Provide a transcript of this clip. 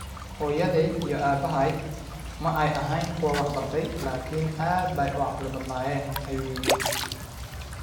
Hooyaday iyo aabahay ma ay ahayn kuwa wax bartay, laakiin aad bay u caqli badnaayeen, ayuu yidhi.